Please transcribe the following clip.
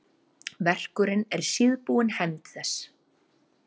Verkurinn er síðbúin hefnd þess.